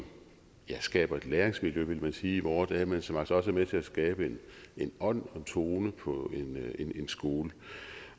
skaber et læringsmiljø ville man sige i vore dage men som altså også er med til at skabe en ånd og en tone på en skole